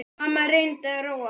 Mamma reyndi að róa hana.